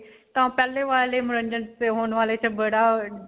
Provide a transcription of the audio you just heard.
ਤਾਂ ਪਹਿਲੇ ਵਾਲੇ ਮਨੋਰੰਜਨ 'ਚ ਤੇ ਹੁਣ ਵਾਲੇ 'ਚ ਬੜਾ ਅਅ